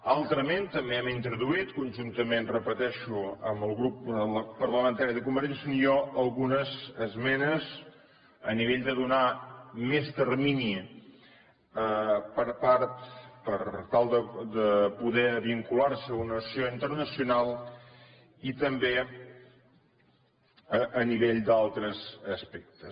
altrament també hem introduït conjuntament ho repeteixo amb el grup parlamentari de convergència i unió algunes esmenes a nivell de donar més termini per tal de poder vincular se a una associació internacional i també a nivell d’altres aspectes